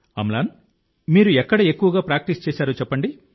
అమ్లాన్ మీరు ఎక్కడ ఎక్కువగా ప్రాక్టీస్ చేశారో చెప్పండి